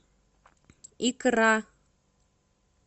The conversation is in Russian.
икра